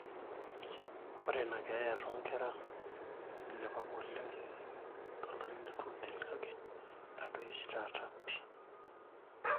ore inakeeya toonkera neilepa apa oleng tolari le 2003 kake etadoyie oshi taata pii